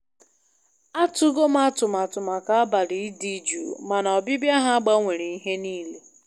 Atụgo m atụmatụ maka abalị dị jụụ, mana ọbịbịa ha gbanwere ihe niile.